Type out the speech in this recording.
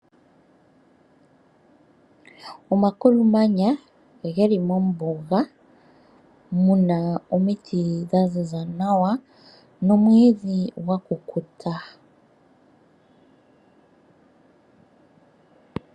Omakulumanya geli mombuga muna omiti dha ziza nawa nomwiidhi gwa kukuta